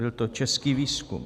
Byl to český výzkum.